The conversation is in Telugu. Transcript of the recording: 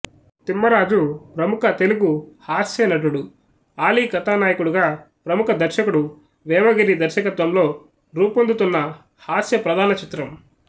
తిమ్మరాజు ప్రముఖ తెలుగు హాస్య నటుడు ఆలీ కథానాయకుడుగా పముఖ దర్శకుడు వేమగిరి దర్శకత్వంలో రూపొందుతున్న హాస్య ప్రధాన చిత్రం